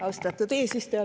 Austatud eesistuja!